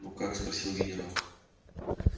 ну как спросил генерал